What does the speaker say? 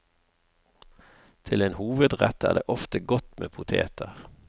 Til en hovedrett er det ofte godt med poteter.